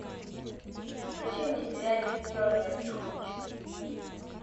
включи мне сериальчик тернер и хуч